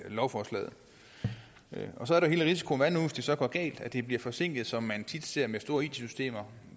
af lovforslaget så er der hele risikoen det så går galt at det bliver forsinket som man tit ser med store it systemer